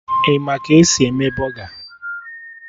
Ị ma ka esi eme bọga?